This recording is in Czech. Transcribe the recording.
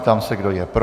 Ptám se, kdo je pro.